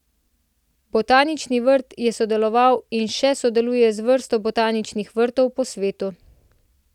Botanični vrt je sodeloval in še sodeluje z vrsto botaničnih vrtov po svetu.